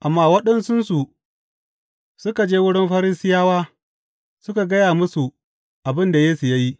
Amma waɗansunsu suka je wurin Farisiyawa suka gaya musu abin da Yesu ya yi.